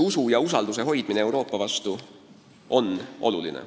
On oluline hoida inimeste usku Euroopasse.